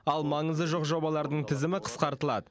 ал маңызы жоқ жобалардың тізімі қысқартылады